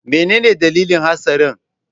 Menene dalilin hatsarin?